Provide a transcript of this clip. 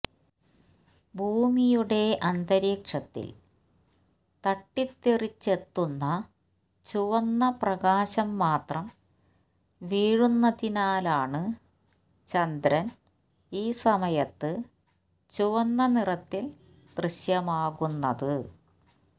ഭൂമിയുടെ അന്തരീക്ഷത്തിൽ തട്ടിത്തെറിച്ചെത്തുന്ന ചുവന്ന പ്രകാശം മാത്രം വീഴുന്നതിനാലാണ് ചന്ദ്രൻ ഈ സമയത്ത് ചുവന്ന നിറത്തിൽ ദൃശ്യമാകുന്നത്